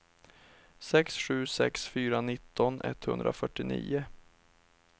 sex sju sex fyra nitton etthundrafyrtionio